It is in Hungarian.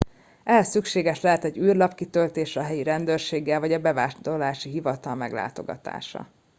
ehhez szükséges lehet egy űrlap kitöltése a helyi rendőrséggel vagy a bevándorlási hivatal meglátogatása